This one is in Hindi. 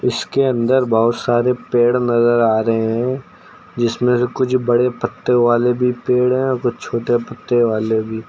इसके अंदर बहोत सारे पेड़ नजर आ रहे हैं जिसमें से कुछ बड़े पत्ते वाले भी पेड़ है और कुछ छोटे पत्ते वाले भी।